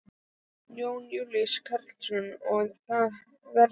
Jón Júlíus Karlsson: Og þetta veður?